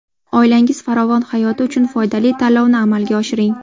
Oilangiz farovon hayoti uchun foydali tanlovni amalga oshiring.